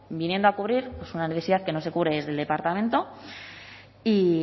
viniendo a cubrir una necesidad que no se cubre desde el departamento y